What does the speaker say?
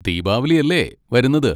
ദീപാവലി അല്ലേ വരുന്നത്.